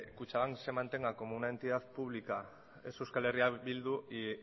kutxabank se mantenga como una entidad pública es euskal herria bildu y